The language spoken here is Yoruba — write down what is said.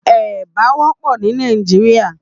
Èbà wòpò ni Nàijiriá